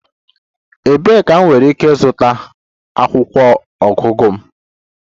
Ebee ka m nwere ike ịzụta akwụkwọ ọgụgụ m?